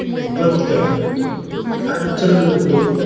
अंगणवाडीत त्या शाळेत प्रवेश घेतला